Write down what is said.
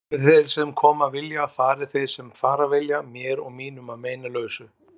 Komi þeir sem koma vilja, fari þeir sem fara vilja, mér og mínum að meinalausu.